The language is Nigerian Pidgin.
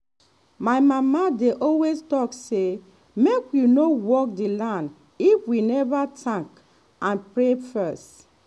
my mama dey always talk say make we no work the land if we never thank and pray first.